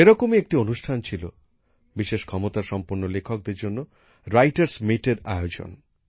সেরকমই একটি অনুষ্ঠান ছিল বিশেষ ক্ষমতা সম্পন্ন লেখকদের জন্য লেখক সম্মেলনের আয়োজন